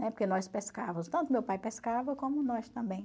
Né? Porque nós pescávamos, tanto meu pai pescava como nós também.